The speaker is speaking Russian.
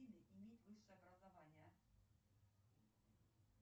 салют в интернете